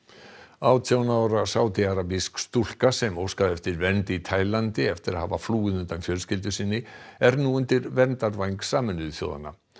átján ára sádiarabísk stúlka sem óskaði eftir vernd í Taílandi eftir að hafa flúið undan fjölskyldu sinni er nú undir verndarvæng Sameinuðu þjóðanna